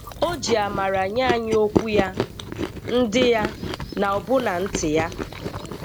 O ji amara nye anyị okwu ya, ndị ya, na ọbụna ntị ya.